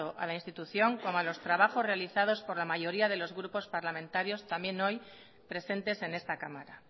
a la institución como a los trabajos realizados por la mayoría de los grupos parlamentarios también hoy presentes en esta cámara